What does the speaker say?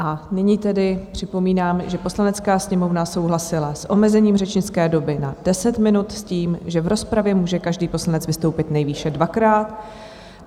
A nyní tedy připomínám, že Poslanecká sněmovna souhlasila s omezením řečnické doby na 10 minut s tím, že v rozpravě může každý poslanec vystoupit nejvýše dvakrát.